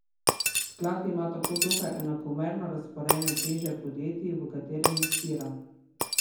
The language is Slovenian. Sklad ima tako dokaj enakomerno razporejene teže podjetij, v katere investira.